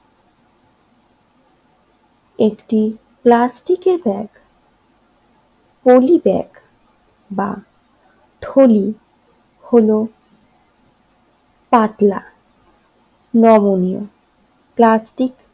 একটি প্লাস্টিকের bag polybag বা থলি হলো পাতলা নমনীয় প্লাস্টিক